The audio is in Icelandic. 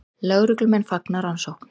Lögreglumenn fagna rannsókn